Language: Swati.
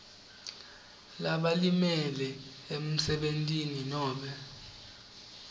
labalimele emsebentini nobe